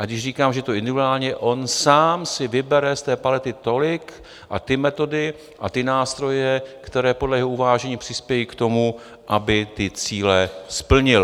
A když říkám, že to je individuální, on sám si vybere z té palety tolik a ty metody a ty nástroje, které podle jeho uvážení přispějí k tomu, aby ty cíle splnil.